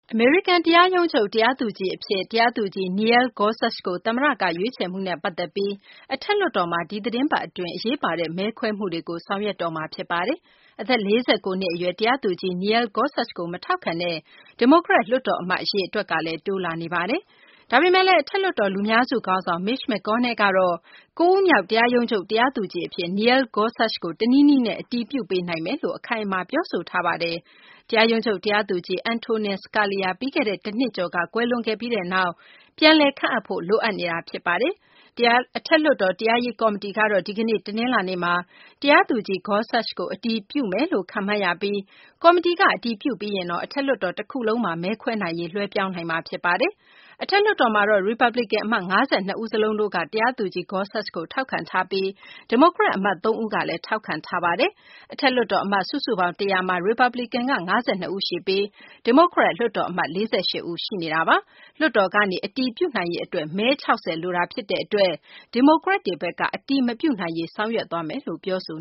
အမေရိကန် တရားရုံးချုပ် တရားသူကြီး အဖြစ် တရားသူကြီး Neil Gorsuch ကို သမ္မတက ရွေးချယ်မှုနဲ့ ပတ်သက်ပြီး အထက်လွှတ်တော်မှာ ဒီသီတင်းပတ် အတွင်း အရေးပါတဲ့ မဲခွဲမှုတွေကို ဆောင်ရွက်မှာ ဖြစ်ပါတယ်။ အသက် ၄၉ နှစ် အရွယ် တရားသူကြီး Neil Gorsuch ကို မထောက်ခံတဲ့ ဒီမိုကရက် လွှတ်တော် အမတ် အရေအတွက်ကလည်း တိုးလာနေပါတယ်။ ဒါပေမယ့်လည်း အထက်လွှတ်တော် လူများစု ခေါင်းဆောင် Mitch McConnell ကတော့ ၉ ဦးမြောက် တရားရုံးချုပ် တရားသူကြီး အဖြစ် Neil Gorsuch ကို တနည်းနည်းနဲ့ အတည်ပြုပေးနိုင်မယ်လို့ အခိုင်အမာ ပြောဆိုထားတာပါ။ တရားရုံးချုပ် တရားသူကြီး Antonin Scalia ပြီးခဲ့တဲ့ တနှစ်ကျော်က ကွယ်လွန်ခဲ့ပြီးနောက် ပြန်လည် ခန့်အပ်ဖို့ လိုအပ်နေတာဖြစ်ပါတယ်။ အထက်လွှတ်တော် တရားရေး ကော်မတီကတော့ ဒီကနေ့ တနလာၤနေ့မှာ တရားသူကြီး Gorsuch ကို အတည်ပြုမယ်လို့ ခန့်မှန်းရပြီး ကော်မတီက အတည်ပြုပြီးရင်တော့ အထက်လွှတ်တော် တခုလုံးမှာ မဲခွဲနိုင်ရေး လွှဲပြောင်းနိုင်မှာ ဖြစ်ပါတယ်။ အထက်လွှတ်တော်မှာတော့ ရီပတ်ပလီကန် အမတ် ၅၂ ဦး စလုံးက တရားသူကြီး Gorsuch ကို ထောက်ခံထားပြီး ဒီမိုကရက် အမတ် သုံးဦးကလည်း ထောက်ခံထားတာပါ။ အထက်လွှတ်တော် အမတ် စုစုပေါင်း ၁၀၀ မှာ Republican က ၅၂ ဦးရှိပြီး ဒီမိုကရက် လွှတ်တော် အမတ်က ၄၈ ဦး ရှိနေတာပါ။ လွှတ်တော်ကနေ အတည်ပြုနိုင်ရေး အတွက် မဲ ၆၀ လိုတာ ဖြစ်တဲ့ အတွက် ဒီမိုကရက်တွေဘက်က အတည်မပြုနိုင်ရေး အတွက် ဆောင်ရွက်သွားမယ်လို့ ပြောဆို